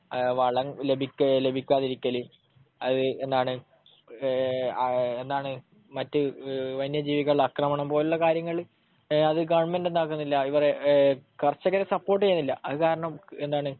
വളം ലഭിക്കു, ലഭിക്കാതിരിക്കല്, മറ്റ് വന്യജീവികളുടെ ആക്രമണം പോലുള്ള കാര്യങ്ങൾ. അത് ഗവണ്മെന്റ് എന്താക്കുന്നില്ല, ഇവരെ കർഷകരെ സപ്പോർട്ട് ചെയ്യുന്നില്ല. അതുകാരണം എന്താണ്